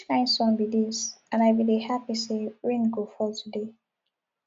which kin sun be ds and i bin dey happy say rain go fall today